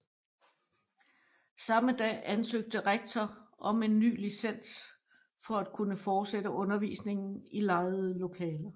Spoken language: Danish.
Samme dag ansøgte rektor om en ny licens for at kunne fortsætte undervisningen i lejede lokaler